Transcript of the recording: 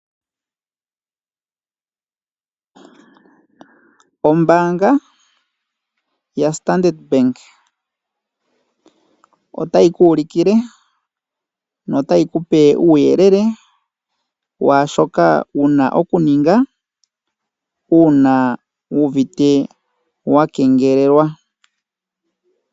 Ombaanga yaStandard Bank otayi ku ulukile na otayi ku pe uuyele washoka wuna okuninga una wu uvite wakengelelwa.